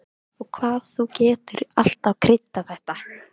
Og hvað þú getur alltaf kryddað þetta!